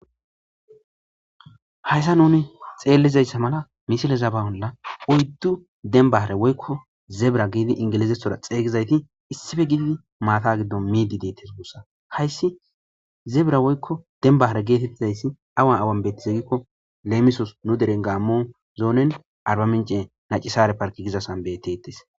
Hayisa nuni xeellizayssa mala misile zabawola oyddu denbaare woykko zebra giidi ingilizethora xeygizayti issife giiidi maata giddon miidi deetes mussa hayssi zebra woykko denbahare geetettizayssi awa awan bettizegikko leemisos nu deren gaammo zoonen arbamince nacisare parki gizasanbeteettes